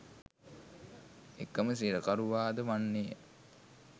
එකම සිරකරුවාද වන්නේය